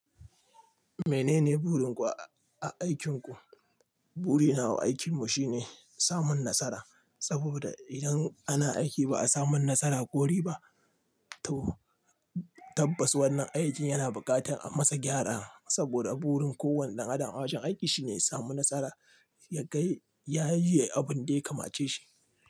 Menene burin ku a a aikin ku? Burina wa aikin mu shine samun nasara, saboda idan ana aiki ba a samun nasara kori ba. To tabbas wannan aikin yana buƙatar a masa gyara saboda burin kowane ɗan adam a wajen aiki shine ya samu nasara ya gai ya yi abin da ya kamace shi.